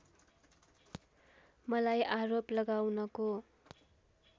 मलाई आरोप लगाउनको